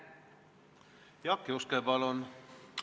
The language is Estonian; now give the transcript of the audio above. Jaak Juske, palun!